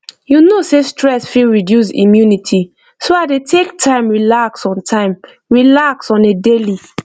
you know sey stress fit reduce immunity so i dey take time relax on time relax on a daily